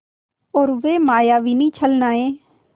और वे मायाविनी छलनाएँ